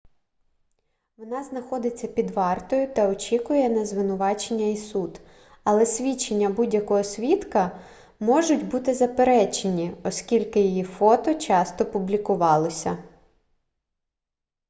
вона знаходиться під вартою та очікує на звинувачення і суд але свідчення будь-якого свідка можуть бути заперечені оскільки її фото часто публікувалося